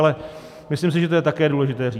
Ale myslím si, že to je také důležité říct.